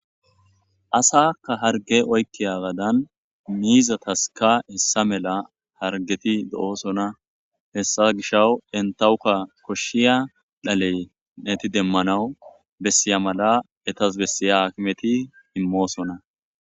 asakka harge oykkiya gadan miizataska hessa mela hargeti do7osona hessa gisha entawukka koshshiya dhaley neti demmanawu bessiya mala etas bessiya akimeti immoosona